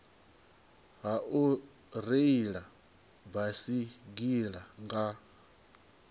ha u reila baisigila nga